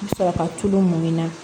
N bɛ sɔrɔ ka tulu mun na